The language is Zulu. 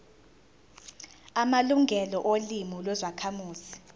amalungelo olimi lwezakhamuzi